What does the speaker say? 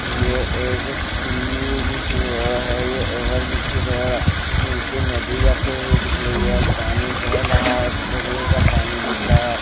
ये एक सी जैसी रोड है यह ओवरब्रिज की रोड है नीचे नदी जाते हुए दिख रही है और पानी बह रहा है ब्लू कलर का पानी दिख रहा है।